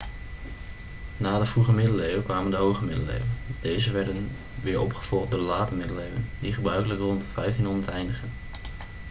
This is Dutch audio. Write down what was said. na de vroege middeleeuwen kwamen de hoge middeleeuwen deze werden weer opgevolgd door de late middeleeuwen die gebruikelijk rond 1500 eindigen